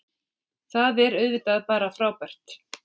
Það er auðvitað bara frábært